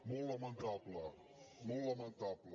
molt lamentable molt lamentable